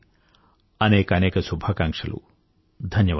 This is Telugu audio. మరోసారి అనేకానేక శుభాకాంక్షలు